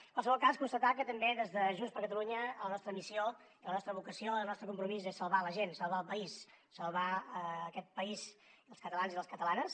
en qualsevol cas constatar que també des de junts per catalunya la nostra missió i la nostra vocació i el nostre compromís és salvar la gent salvar el país salvar aquest país els catalans i les catalanes